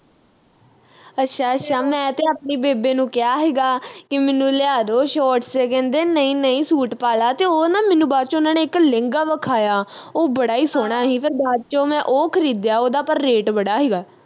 ਅੱਛਾ ਅੱਛਾ ਮੈਂ ਤੇ ਆਪਣੀ ਬੇਬੇ ਨੂੰ ਕਿਹਾ ਹੀਗਾ ਕਿ ਮੈਂਨੂੰ ਲਿਆ ਦੋ shorts ਕਹਿੰਦੇ ਨਈ ਨਈ ਸੂਟ ਪਾਲਾ ਤੇ ਉਹ ਨਾ ਮੈਨੂੰ ਬਾਅਦ ਵਿਚ ਉਨ੍ਹਾਂ ਨੇ ਇਕ ਲਹਿੰਗਾ ਵਿਖਾਇਆ ਉਹ ਬੜਾ ਈ ਸੋਹਣਾ ਹੀ ਫਿਰ ਬਾਅਦ ਵਿਚ ਮੈਂ ਉਹ ਖਰੀਦਿਆ ਉਹਦਾ ਪਰ rate ਬੜਾ ਹੀਗਾ